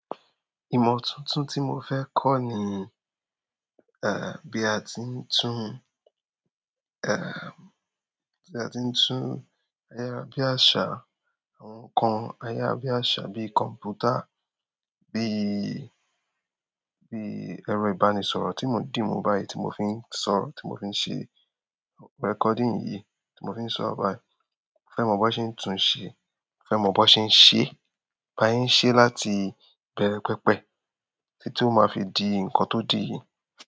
Ìmọ̀ tuntun tí mo fẹ́ kọ́ ni, eh, bí a ti ń tún, eh, bí a ti ń tún ayárabíàṣá, àwọn ǹkan ayárabíàṣá bíi kọ̀m̀pútà, bí, bí ẹrọ ìbánisọ̀rọ̀ tí mò ń dì mọ́ báyìí tí mò fi ń sọ̀rọ̀, tí mò fi ṣe recording yìí tí mò fi ń sọ̀rọ̀ báyìí. Mo fẹ́ mọ̀ bí wọ́n ṣe ń tún ṣe-- mo fẹ́ mọ̀ bọ́ ṣe ń ṣe, bí a ṣe ń ṣe láti ìbẹ̀rẹ̀ pẹpẹ títí ó máa fi di ǹkan tó di yìí.